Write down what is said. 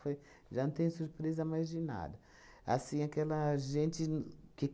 Foi. Já não tenho surpresa mais de nada. Assim aquela gente no que